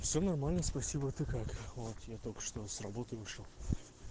всё нормально спасибо ты как вот я только что с работы вышел